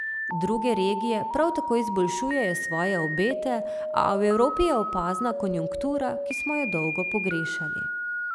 Druge regije prav tako izboljšujejo svoje obete, a v Evropi je opazna konjunktura, ki smo jo dolgo pogrešali.